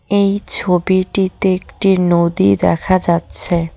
এই ছবিটিতে একটি নদী দেখা যাচ্ছে।